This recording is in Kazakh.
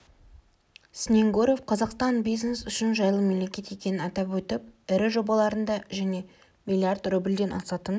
снегуров қазақстан бизнес үшін жайлы мемлекет екенін атап өтіп ірі жобаларында және млрд рубльден асатын